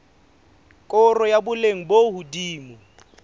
koro ya boleng bo hodimo